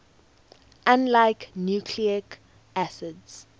unlike nucleic acids